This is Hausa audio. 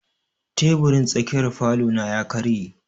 Teburin tsakiyar falo na ya karye.